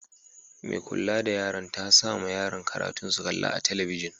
Mai kulla da yaran ta sa ma yaran katun su kalla a'telibijin.